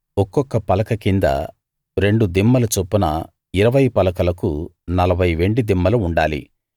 ఒక్కొక్క పలక కింద రెండు దిమ్మలు చొప్పున ఇరవై పలకలకు నలభై వెండి దిమ్మలు ఉండాలి